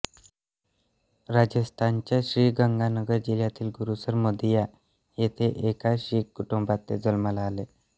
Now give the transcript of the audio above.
राजस्थानच्या श्रीगंगानगर जिल्ह्यातील गुरुसर मोदिया येथे एका शीख कुटुंबात ते जन्माला आले